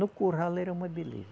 No Curral ela era uma beleza.